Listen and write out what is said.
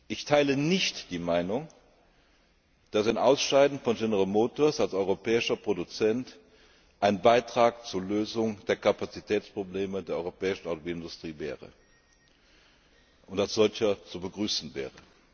ab. Ich teile nicht die Meinung, dass ein Ausscheiden von General Motors als europäischem Produzenten ein Beitrag zur Lösung der Kapazitätsprobleme der europäischen Automobilindustrie und als solcher zu begrüßen wäre.